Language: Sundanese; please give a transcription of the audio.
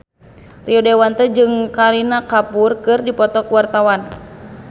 Rio Dewanto jeung Kareena Kapoor keur dipoto ku wartawan